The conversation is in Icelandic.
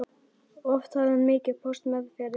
Oft hafði hann mikinn póst meðferðis.